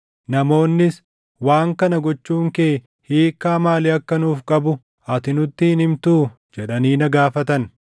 Namoonnis, “Waan kana gochuun kee hiikkaa maalii akka nuuf qabu ati nutti hin himtuu?” jedhanii na gaafatan.